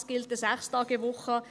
Es gilt eine 6-Tage-Woche.